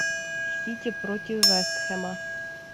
сити против вест хэма